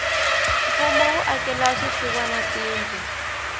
mfumo wu akela swisiwana tindlu